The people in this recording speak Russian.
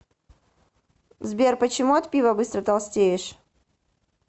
сбер почему от пива быстро толстеешь